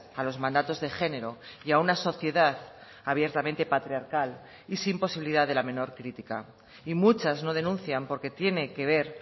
a los mandatos de género y a una sociedad abiertamente patriarcal y sin posibilidad de la menor crítica y muchas no denuncian porque tiene que ver